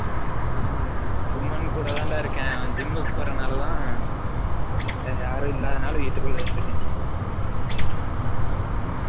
சுமன் கூட தான் டா இருக்கேன் அவன் gym க்கு போர நால தான், வேர யாரும் இல்லாதா நால தான் வீடுக்குல்லய இருகென்